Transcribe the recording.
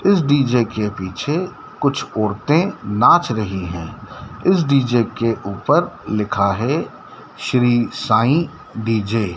इस डी_जे के पीछे कुछ औरते नाच रही है इस डी_जे के ऊपर लिखा है श्री साईं डी_जे --